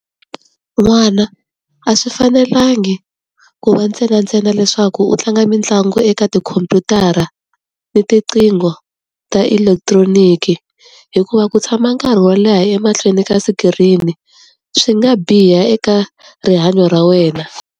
N'wana a swi fanelangi ku va ntsenantsena leswaku u tlanga mitlangu eka tikhomphyutara, ni tiqingho ta elekitroniki. Hikuva ku tshama nkarhi wo leha emahlweni ka sikirini swi nga biha eka rihanyo ra wena.